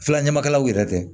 Filanw yɛrɛ tɛ